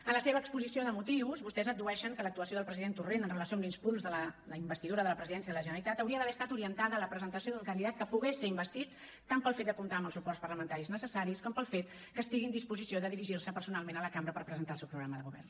en la seva exposició de motius vostès addueixen que l’actuació del president torrent en relació amb l’impuls de la investidura de la presidència de la generalitat hauria d’haver estat orientada a la presentació d’un candidat que pogués ser investit tant pel fet de comptar amb els suports parlamentaris necessaris com pel fet que estigui en disposició de dirigir se personalment a la cambra per presentar el seu programa de govern